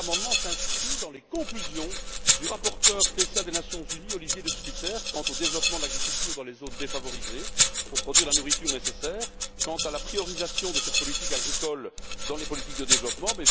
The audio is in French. Cet amendement s'inscrit dans les conclusions du rapporteur spécial des Nations unies, Olivier De Schutter, quant au développement de l'agriculture dans les zones défavorisées pour produire la nourriture nécessaire et quant à la priorité de cette politique agricole dans les politiques de développement.